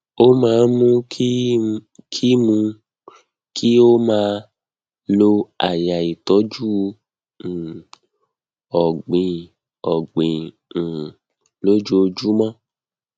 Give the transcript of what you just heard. ó máa ń mú kí mú kí ó máa lo àyà ìtọjú um ọgbìn ọgbìn um lójoojúmọ